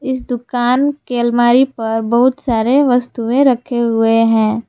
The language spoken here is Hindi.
इस दुकान के अलमारी पर बहुत सारे वस्तुएं रखे हुए हैं।